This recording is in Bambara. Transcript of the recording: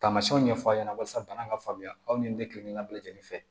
Tamasiyɛnw ɲɛfɔ a ɲɛna walasa bana ka faamuya aw ni ne kelen ŋa bɛɛ lajɛlen fɛ